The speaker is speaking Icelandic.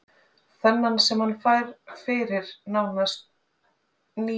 Þennan sem hann fær fyrir nánast níu misheppnuð ár?